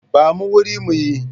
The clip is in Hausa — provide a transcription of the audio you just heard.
Ba mu wuri mu yi.